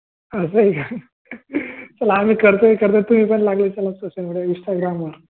चला आम्ही करतोय करतोय तुम्ही पण लागले सोशल मेडिया instagram वर